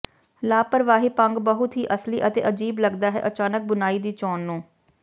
ਲਾਪਰਵਾਹੀ ਭੰਗ ਬਹੁਤ ਹੀ ਅਸਲੀ ਅਤੇ ਅਜੀਬ ਲੱਗਦਾ ਹੈ ਅਚਾਨਕ ਬੁਣਾਈ ਦੀ ਚੋਣ ਨੂੰ